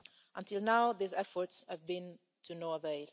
Until now, these efforts have been to no avail.